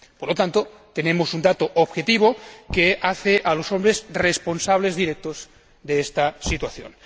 Por lo tanto, tenemos un dato objetivo que hace a los hombres responsables directos de esta situación.